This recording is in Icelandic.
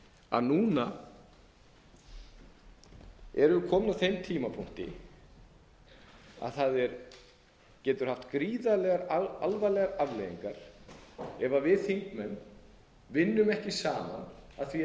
að núna erum við komin að þeim tímapunkti að það getur haft gríðarlega alvarlegar afleiðingar ef við þingmenn vinnum ekki saman að því að